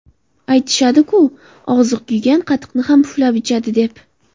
Aytishadi-ku, og‘zi kuygan qatiqni ham puflab ichadi, deb.